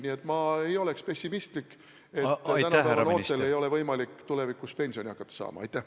Nii et ma ei ole nii pessimistlik, et väita, et tänapäeva noortel ei ole võimalik tulevikus hakata pensioni saama.